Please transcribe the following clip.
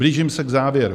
Blížím se k závěru.